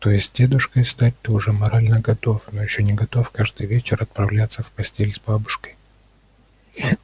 то есть дедушкой стать ты уже морально готов но ещё не готов каждый вечер отправляться в постель с бабушкой